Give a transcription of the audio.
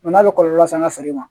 n'a bɛ kɔlɔlɔ se an ka feere ma